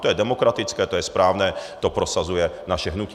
To je demokratické, to je správné, to prosazuje naše hnutí.